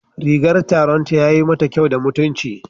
Rigan taronta yayi mata kyau da mutunci